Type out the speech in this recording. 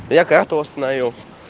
я карту восстановил